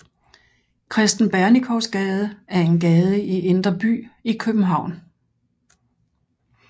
Kristen Bernikows Gade er en gade i Indre By i København